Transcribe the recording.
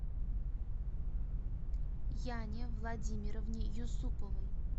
яне владимировне юсуповой